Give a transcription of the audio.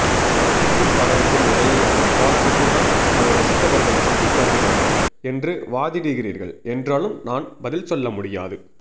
லாஞ்சிக்கும் படகுக்கும் இடையேயான போராட்டத்தைத்தான் அதை ரசித்தவர்கள் சுட்டிக்காட்டினார்கள் என்று வாதிடுகிறீர்கள் என்றாலும் நான் பதில் சொல்லமுடியாது